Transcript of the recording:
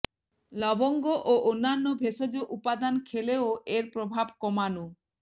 লবঙ্গ ও অন্যান্য ভেষজ উপাদান খেলেও এর প্রভাব কমানো